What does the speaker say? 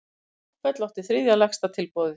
Háfell átti þriðja lægsta tilboðið